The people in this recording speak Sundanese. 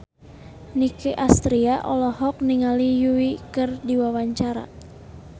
Nicky Astria olohok ningali Yui keur diwawancara